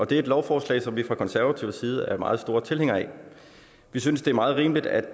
det er et lovforslag som vi fra konservativ side er meget store tilhængere af vi synes det er meget rimeligt at